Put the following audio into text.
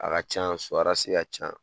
A ka ca . So ka ca.